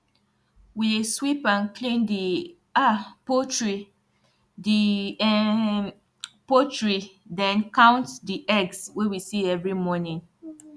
we dey sweep and clean di um poultry di um poultry den um count di eggs wey we see every morning